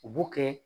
U b'o kɛ